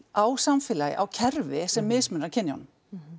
á samfélagi á kerfi sem mismunar kynjunum